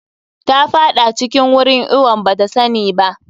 Ta faɗa cikin wurin iwon bata sani ba.